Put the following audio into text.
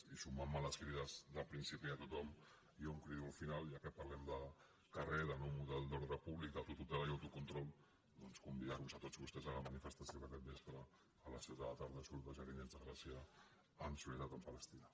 i sumant me a les crides del principi de tothom jo crido al final ja que parlem de carrer de nou model d’ordre públic d’autotutela i autocontrol doncs convidar vos a tots vostès a la manifestació que aquest vespre a les set de la tarda surt de jardinets de gràcia en solidaritat amb palestina